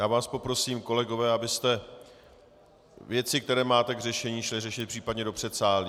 Já vás poprosím, kolegové, abyste věci, které máte k řešení, šli řešit případně do předsálí.